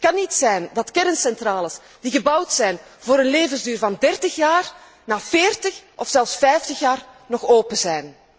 Het kan niet zijn dat kerncentrales die gebouwd zijn voor een levensduur van dertig jaar, na veertig of zelfs vijftig jaar nog open zijn.